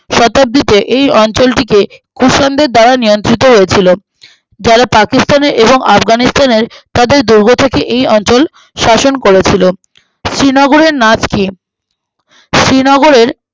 শতাব্দীতে এই অঞ্চলটিকে খুব সুন্দর দ্বারা নিয়ন্ত্রিত হয়েছিল আহ যারা পাকিস্তানের এবং আফগানিস্থানের তাদের দোরগো থেকে এই অঞ্চল শাসন করেছিলেন শ্রীনগরের নাচ কি